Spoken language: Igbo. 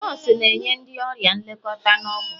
nọọsụ na-enye ndị ọrịa nlekọta na ọgwụ